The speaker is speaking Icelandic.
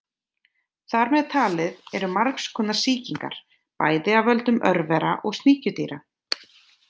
Þar með talið eru margs konar sýkingar, bæði af völdum örvera og sníkjudýra.